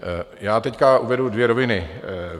Já teď uvedu dvě roviny.